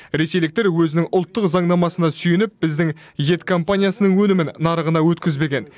ресейліктер өзінің ұлттық заңнамасына сүйеніп біздің ет компаниясының өнімін нарығына өткізбеген